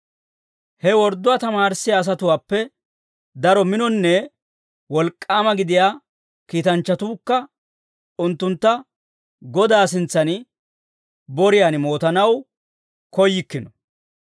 He wordduwaa tamaarissiyaa asatuwaappe daro minonne wolk'k'aama gidiyaa kiitanchchatuukka unttuntta Godaa sintsan boriyaan mootanaw koyyikkino.